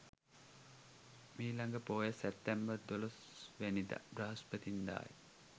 මිළඟ පෝය සැප්තැම්බර් 12 වැනිදා බ්‍රහස්පතින්දා ය.